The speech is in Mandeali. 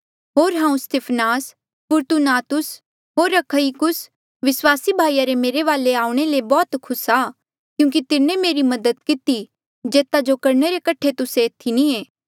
होर हांऊँ Stephanas Fortunatus होर अखइकुस विस्वासी भाईया रे मेरे वाले आऊणें ले बौह्त खुस आ क्यूंकि तिन्हें मेरी से मदद किती जेता जो करणे रे कठे तुस्से एथी नी ऐें